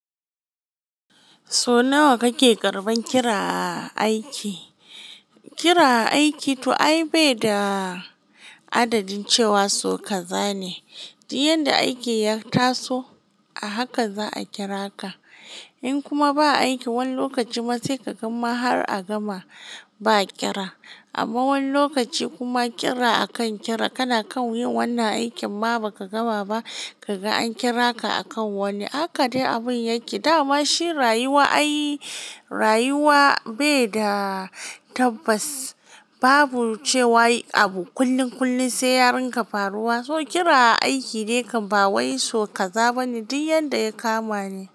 So nawa kake karbar kira a aiki? Kira a aiki ai bai da adadin cewa so kazane. Duk yanda aiki ya taso a haka za a kira ka. In kuma ba aiki wani lokacin ma saika gama har a gama ba kira. Amma wani lokaci kuma kira akan kira kana kan yin wannan aikin ma ba ka gama ba kaga an kira ka akan wani. Haka dai abin yake. Da ma shi rayuwa, ai rayuwa bai da tabbas. Babu cewa yi abu kullin kullin sai ya rinka faruwa. So kira aiki dai kam ba wai so kaza bane duk yanda ya kama ne.